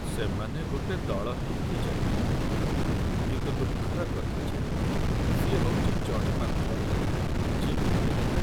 ସେମାନେ ଗୋଟେ ଦଳ ହେଇକି ଯାଇଥିଲେ, କିନ୍ତୁ ଦୁଃଖର କଥା ଯେ ସିଏ ହଉଚି ଜଣେ ମାତ୍ର ଯିଏକି ଫେରିଲା ।